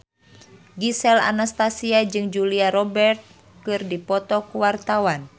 Gisel Anastasia jeung Julia Robert keur dipoto ku wartawan